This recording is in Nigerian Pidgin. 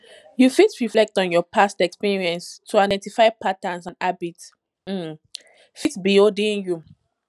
you fit reflect on your past experience to identify patterns and habits um fit be holding you